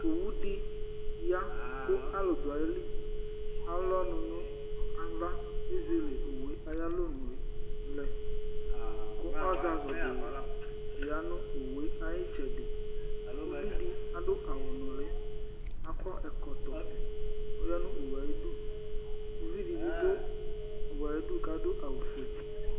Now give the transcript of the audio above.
Ɛtufue aluɛdini la n'tɛ dù owu li, atani abù, ũné edigbo dù alɔ k'edigbo dù ùdu ku atani aba tɔ̃, owue ɛkuɛdi kpékpe n'akɔdu n'owue la ku atani dù ayili, ɛfua dù alɔ, ku ɔbu dù ùdu